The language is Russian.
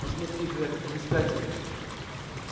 посмотри грег они спятили